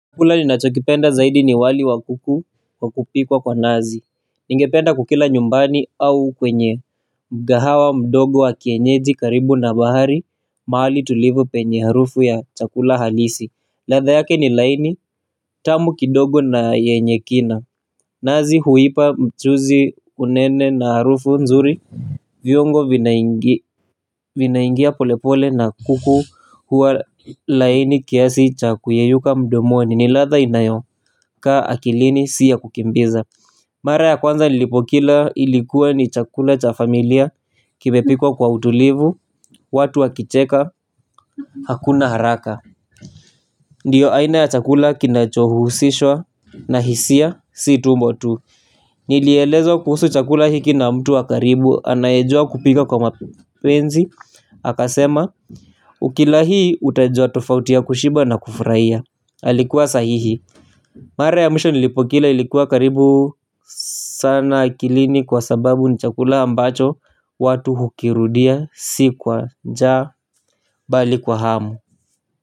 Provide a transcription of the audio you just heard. Chakula ninachokipenda zaidi ni wali wa kuku wa kupikwa kwa nazi. Ningependa kukila nyumbani au kwenye mgahawa mdogo wa kienyeji karibu na bahari. Mahali tulivu penye harufu ya chakula halisi. Ladha yake ni laini tamu kidogo na yenye kina. Nazi huipa mchuzi unene na harufu nzuri. Viungo vinaingi. Vinaingia polepole na kuku huwa laini kiasi cha kuyayuka mdomoni ni ladha inayokaa akilini si ya kukimbiza. Mara ya kwanza nilipokila ilikuwa ni chakula cha familia kimepikwa kwa utulivu watu wakicheka hakuna haraka. Ndiyo aina ya chakula kinachohusishwa na hisia si tumbo tu nilielezwa kuhusu chakula hiki na mtu wa karibu anayejua kupika kwa mapenzi akasema. Ukila hii utajua tofauti ya kushiba na kufraia. Alikuwa sahihi. Mara ya mwisho nilipokila ilikuwa karibu sana akilini kwa sababu ni chakula ambacho watu hukirudia si kwa njaa bali kwa hamu.